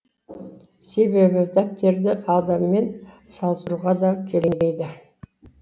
себебі дәптерді адаммен салыстыруға да келмейді